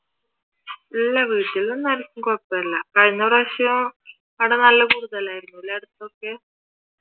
ഇല്ല വീട്ടിൽ ഒന്നും ആർക്കും കൊഴപ്പം ഒന്നും ഇല്ല കഴിഞ്ഞ പ്രാവിശ്യം ഇവിടെ നല്ല കൂടുതലായിരുന്നുല്ലേ അടുത്തൊക്കെ